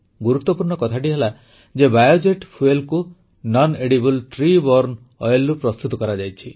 ଗୁରୁତ୍ୱପୂର୍ଣ୍ଣ କଥାଟି ହେଲା ଯେ biojet fuelKê nonedible tree borne oilରୁ ପ୍ରସ୍ତୁତ କରାଯାଇଛି